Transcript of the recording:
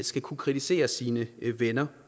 skal kunne kritisere sine venner